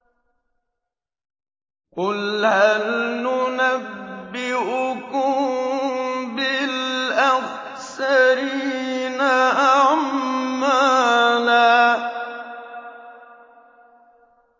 قُلْ هَلْ نُنَبِّئُكُم بِالْأَخْسَرِينَ أَعْمَالًا